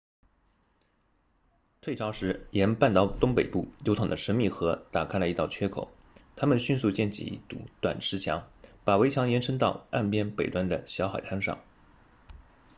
退潮时沿半岛东北部流淌的神秘河打开了一道缺口他们迅速建起一堵短石墙把围墙延伸到岸边北端的小海滩上